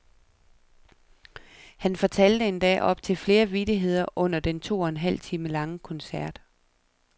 Han fortalte endda op til flere vittigheder under den to og en halv time lange koncert.